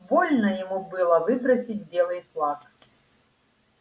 больно ему было выбросить белый флаг